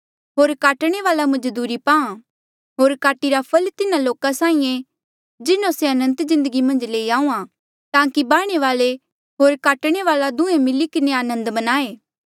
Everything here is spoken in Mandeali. होर काटणे वाल्आ मजदूरी पाहां होर काटिरा फल तिन्हा लोका साहीं ऐें जिन्हों से अनंत जिन्दगी मन्झ लेई आऊआ ताकि बाह्णे वाल्आ होर काटणे वाल्आ दुहें मिली किन्हें आनंद मन्नाहें